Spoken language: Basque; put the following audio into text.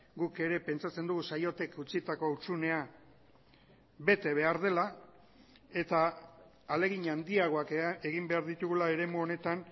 guk ere pentsatzen dugu saiotek utzitako hutsunea bete behar dela eta ahalegin handiagoak egin behar ditugula eremu honetan